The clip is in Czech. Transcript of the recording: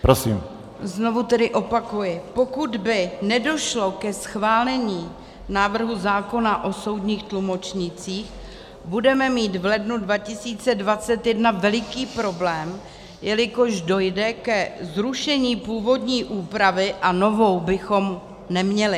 Znovu tedy opakuji, pokud by nedošlo ke schválení návrhu zákona o soudních tlumočnících, budeme mít v lednu 2021 veliký problém, jelikož dojde ke zrušení původní úpravy a novou bychom neměli.